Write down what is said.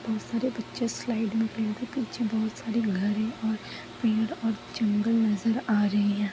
बहोत सारे बच्चे स्लाईड में पेड़ के पीछे बहोत सारे घर है और पेड़ और जंगल नजर आ रहे हैं।